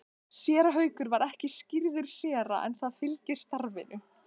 Séra Haukur var ekki skírður séra en það fylgir starfinu.